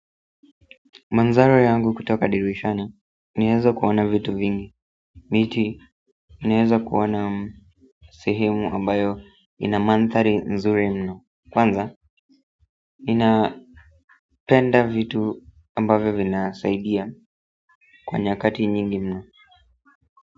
Mandhari yangu kutoka dirishani, naeza kuona vitu vingi miti, naeza kuona sehemu ambayo ina mandhari nzuri mno kwanza, napenda vitu ambavyo vinasaidia kwa nyakati nyingi mno.